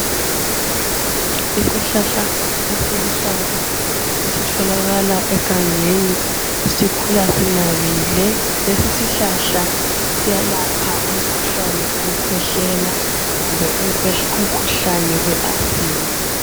Isihlahla esiluhlaza esitholakala egangeni sikhula sinabile. Lesi isihlahla siyelapha umkhuhlane wokukhwehlela kumbe umkhuhlane we asthma.